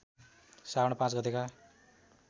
श्रावण ५ गतेका